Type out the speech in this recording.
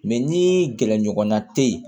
Mɛ ni gɛrɛɲɔgɔnna tɛ ye